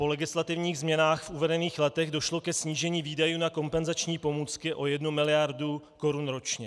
Po legislativních změnách v uvedených letech došlo ke snížení výdajů na kompenzační pomůcky o jednu miliardu korun ročně.